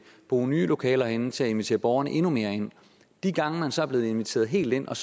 bruge nye lokaler herinde til at invitere borgerne endnu mere ind de gange man så er blevet inviteret helt ind og